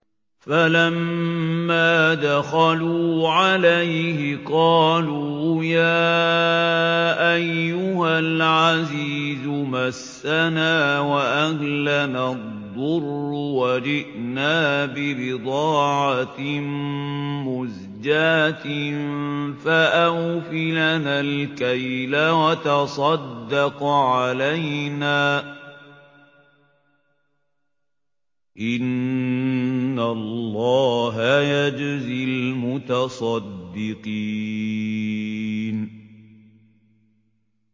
فَلَمَّا دَخَلُوا عَلَيْهِ قَالُوا يَا أَيُّهَا الْعَزِيزُ مَسَّنَا وَأَهْلَنَا الضُّرُّ وَجِئْنَا بِبِضَاعَةٍ مُّزْجَاةٍ فَأَوْفِ لَنَا الْكَيْلَ وَتَصَدَّقْ عَلَيْنَا ۖ إِنَّ اللَّهَ يَجْزِي الْمُتَصَدِّقِينَ